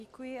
Děkuji.